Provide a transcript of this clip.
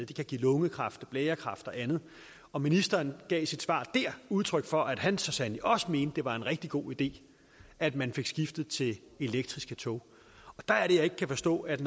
de kan give lungekræft blærekræft og andet og ministeren gav i sit svar dér udtryk for at han så sandelig også mente at det var en rigtig god idé at man fik skiftet til elektriske tog der er det jeg ikke kan forstå at